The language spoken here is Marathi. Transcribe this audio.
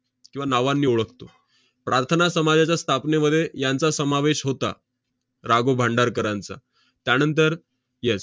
किंवा नावांनी ओळखतो. प्रार्थना समाजाच्या स्थापनेमध्ये यांचा समावेश होता, रा. गो. भांडारकरांचा. त्यानंतर yes